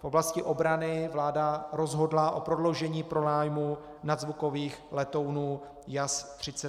V oblasti obrany vláda rozhodla o prodloužení pronájmu nadzvukových letounů JAS-39 Gripen.